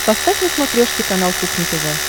поставь на смотрешке канал кухня тв